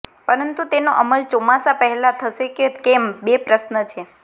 પરંતુ તેનો અમલ ચોમાસા પહેલા થશે કે કેમ બે પ્રશ્ન છે